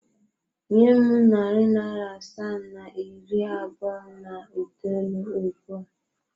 Nye m narị naịra asaa na iri abụọ na itoolu ugbu a!